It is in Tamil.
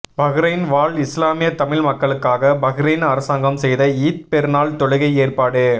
பஹ்ரைன் வாழ் இஸ்லாமிய தமிழ் மக்களுக்காக பஹ்ரைன் அரசாங்கம் செய்த ஈத் பெருநாள் தொழுகை ஏற்பாடு